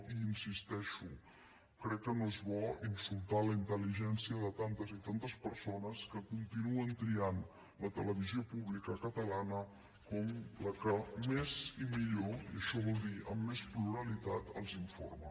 i hi insisteixo crec que no és bo insultar la intel·ligència de tantes i tantes persones que continuen triant la televisió pública catalana com la que més i millor i això vol dir amb més pluralitat els informa